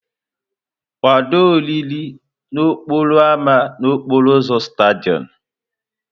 Kwado oriri n'okporo ámá n'okporo ụzọ Stádịọm!